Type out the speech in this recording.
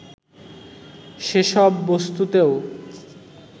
সেসব বস্তুতেও